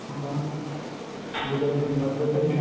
ਠੀਕ ਹੈ ਨਾ ਜਦੋਂ ਕੋਈ ਮਰਗਤ ਤੇ ਜਾਣਾ